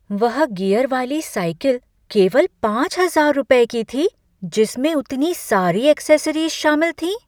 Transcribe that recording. वह गियर वाली साइकिल केवल पाँच हजार रुपये की थी जिसमें उतनी सारी ऐक्सेसरीज़ शामिल थीं?